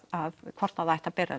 hvort það ætti að bera